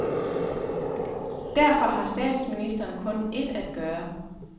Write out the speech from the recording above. Derfor har statsministeren kun et at gøre.